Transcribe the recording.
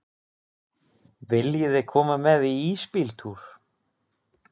Viljiði koma með í ísbíltúr?